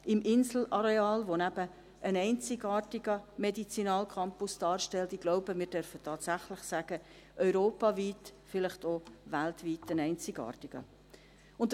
im Inselareal, das eben einen einzigartigen – ich glaube, wir dürfen tatsächlich sagen: einen europaweit, vielleicht auch weltweit einzigartigen – Medizinalcampus darstellt.